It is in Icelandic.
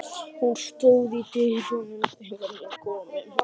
Hún stóð í dyrunum þegar við komum.